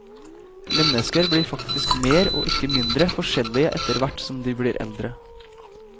Mennesker blir faktisk mer, og ikke mindre, forskjellige etterhvert som de blir eldre.